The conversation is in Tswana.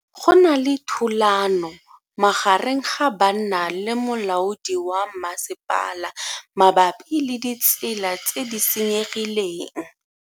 Go na le thulano magareng ga banna le molaodi wa masepala mabapi le ditsela tse di senyegileng.